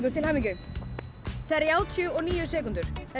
til hamingju þrjátíu og níu sekúndur þetta